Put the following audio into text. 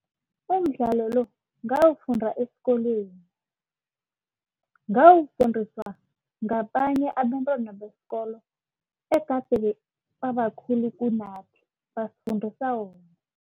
Umdlalo lo ngawufunda esikolweni. Ngawufundiswa ngabanye abentwana besikolo egade babakhulu kunathi abasifundisa wona.